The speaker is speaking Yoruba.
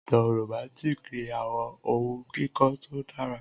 Awọn itan Romantic ni awọn ohun kikọ to dara